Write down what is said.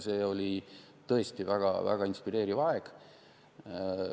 See oli tõesti väga inspireeriv aeg.